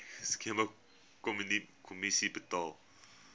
skema kommissie betaal